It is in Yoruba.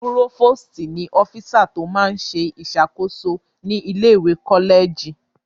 Púrófòstì ní ọ́físà tó máa n ṣe ìṣàkóso ní ilé-ìwé kọ́lẹ̀jì